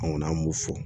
An kɔni an b'u fo